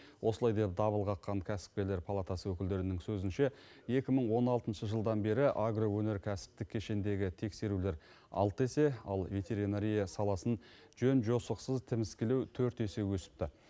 осылай деп дабыл қаққан кәсіпкерлер палатасы өкілдерінің сөзінше екі мың он алтыншы жылдан бері агроөнеркәсіптік кешендегі тексерулер алты есе ал ветеринария саласын жөн жосықсыз тіміскілеу төрт есе өсіпті